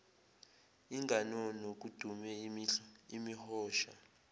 inganono kudume imihosha